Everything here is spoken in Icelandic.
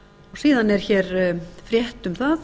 síðan er frétt um það